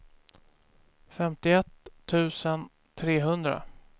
femtioett tusen trehundra